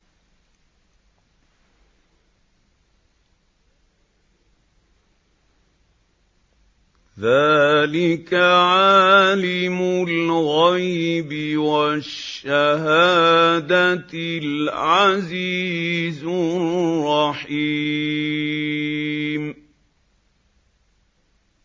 ذَٰلِكَ عَالِمُ الْغَيْبِ وَالشَّهَادَةِ الْعَزِيزُ الرَّحِيمُ